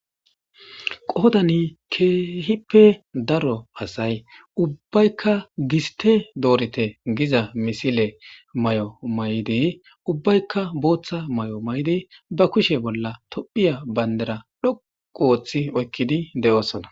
qoodani keehippe daro asay ubbaykka giste doorite giza misile may7o may7di ubbaykka booththa may7o may7di ba kushe bolla tophiya bayndera dhoqu ooththi oykkidi de7oosona